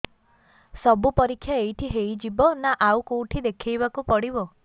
ସବୁ ପରୀକ୍ଷା ଏଇଠି ହେଇଯିବ ନା ଆଉ କଉଠି ଦେଖେଇ ବାକୁ ପଡ଼ିବ